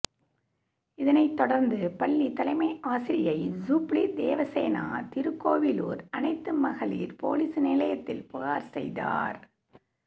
இதனைத்தொடர்ந்து பள்ளி தலைமை ஆசிரியை ஜூப்ளி தேவசேனா திருக்கோவிலூர் அனைத்து மகளிர் போலீஸ் நிலையத்தில் புகார் செய்தார்